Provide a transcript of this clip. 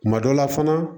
Kuma dɔ la fana